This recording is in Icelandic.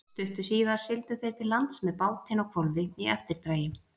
Stuttu síðar sigldu þeir til lands með bátinn á hvolfi í eftirdragi.